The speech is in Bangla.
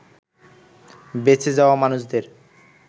বেচে যাওয়া মানুষদের